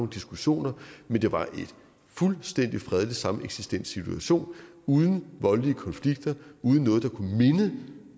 diskussioner men det var en fuldstændig fredelig sameksistenssituation uden voldelige konflikter uden noget der kunne minde